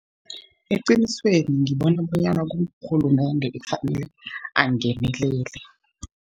Eqinisweni, ngibona bonyana ngurhulumende ekufanele angenelele.